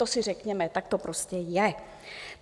To si řekněme, tak to prostě je.